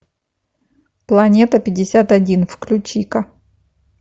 планета пятьдесят один включи ка